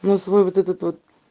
ну свой вот этот вот